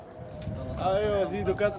Eyvallah!